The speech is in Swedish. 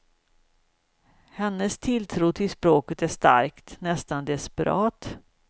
Hennes tilltro till språket är stark, nästan desperat.